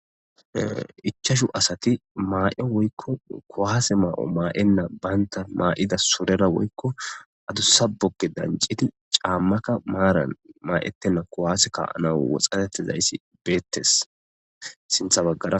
Ichashu asati maa'e woykko kowaase maa'o maa'enna baynta maa'ida sorera woykko adussa bokke dancidi caammaka maaran maa'ettenna kowaase kaanaw woxatettezayssi beettes sintha baggara.